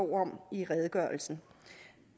om i redegørelsen